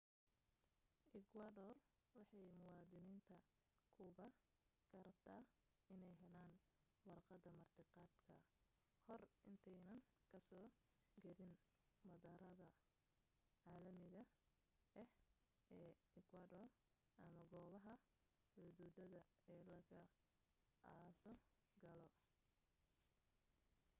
ekwadoor waxay muwaadiniinta kuuba ka rabtaa inay helaan warqad martiqaad ka hor intaanay ka soo gelin madaarada caalamiga ah ee ekwador ama goobaha xuduuda ee lag asoo galo